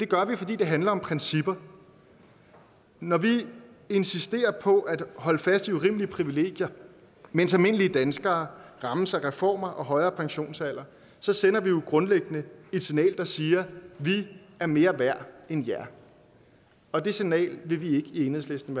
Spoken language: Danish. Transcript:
gør det fordi det handler om principper når vi insisterer på at holde fast i urimelige privilegier mens almindelige danskere rammes af reformer og højere pensionsalder så sender vi jo grundlæggende et signal der siger vi er mere værd end jer og det signal vil vi i enhedslisten